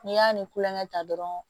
N'i y'a ni kulonkɛ ta dɔrɔn